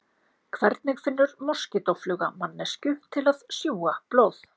Hvernig finnur moskítófluga manneskju til að sjúga blóð?